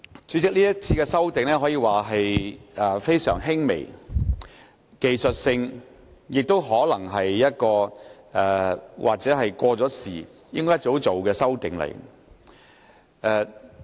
主席，這次的修訂可說是非常輕微及技術性，亦可能是早已應該作出的修訂。